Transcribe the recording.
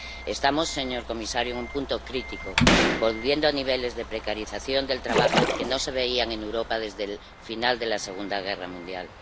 Estamos, señor comisario, en un punto crítico, volviendo a niveles de precarización del trabajo que no se veían en Europa desde el final de la Segunda Guerra Mundial.